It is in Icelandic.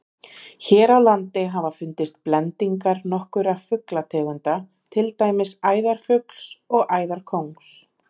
Hér á landi hafa fundist blendingar nokkurra fuglategunda, til dæmis æðarfugls og æðarkóngs.